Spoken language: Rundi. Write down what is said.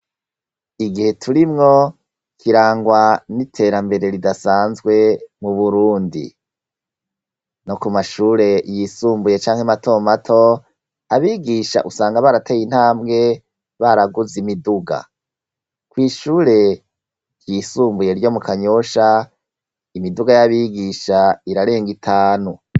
Igihe turimwo kirangwa n'iterambere ridasanzwe mu burundi no ku mashure yisumbuye canke matomato abigisha usanga barateye intambwe baraguze imiduga kw'ishure ryisumbuye ryo mu kanyoshae imiduga y'abigisha irarenga itanu.